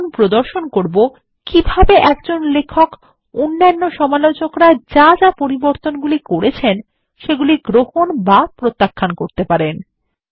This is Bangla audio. আমরা এখন প্রদর্শন করব কিভাবে লেখক সমালোচকরা যা যা পরিবর্তনগুলি করেছেন তা গ্রহণ বা প্রত্যাখ্যান করতে পারেন